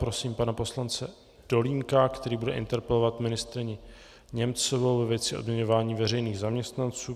Prosím pana poslance Dolínka, který bude interpelovat ministryni Němcovou ve věci odměňování veřejných zaměstnanců.